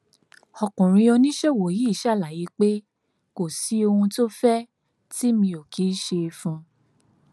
ọkùnrin oníṣòwò yìí ṣàlàyé pé kò sí ohun tó fẹ tì mí ò kì í ṣe fún un